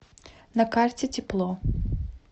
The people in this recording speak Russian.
на карте тепло